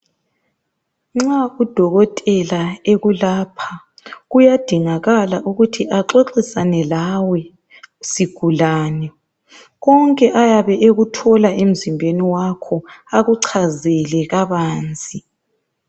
Nxa udokotela ekulapha kuyadingakala ukuthi axoxisane lawe sigulane. Konke ayabe ekuthola emzimbeni wakho, akuchazele kabanzi.